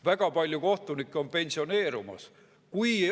Väga palju kohtunikke on pensioneerumas.